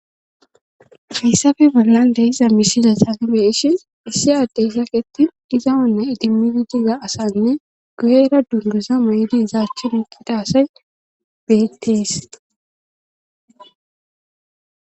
hayssafe bollan deiza misila saagibeishin issi addey sakettin diza onna idimidi diza asanne gu'era dundusa may'di zaachchi iqida asay beettees.